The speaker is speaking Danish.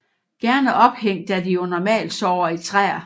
Gerne ophængt da de jo normalt sover i træer